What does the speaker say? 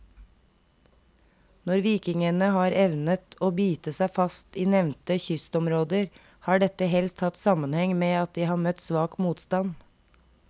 Når vikingene har evnet å bite seg fast i nevnte kystområder, har dette helst hatt sammenheng med at de har møtt svak motstand.